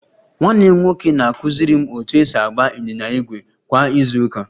Nwanne m nwoke na-akụziri m otu esi agba ịnyịnya ígwè kwa izu ụka